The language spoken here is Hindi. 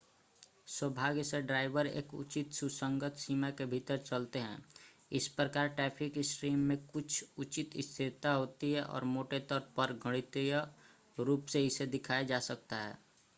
सौभाग्य से ड्राइवर एक उचित सुसंगत सीमा के भीतर चलते हैं इस प्रकार ट्रैफ़िक स्ट्रीम में कुछ उचित स्थिरता होती है और मोटे तौर पर गणितीय रूप से इसे दिखाया जा सकता है